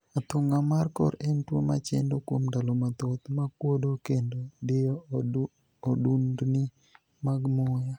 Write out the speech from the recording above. Athung'a mar kor en tuo machendo, kuom ndalo mathoth, ma kuodo kendo diyo odundni mag muya